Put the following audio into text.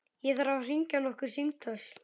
Ég þarf að hringja nokkur símtöl.